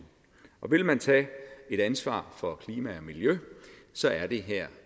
vil man tage et ansvar for klima og miljø er det her